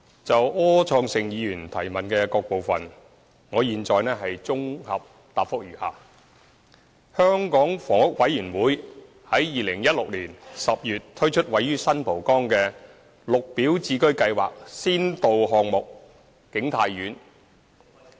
就柯創盛議員質詢的各部分，我現在綜合答覆如下：香港房屋委員會於2016年10月推出位於新蒲崗的"綠表置居計劃"先導項目景泰苑。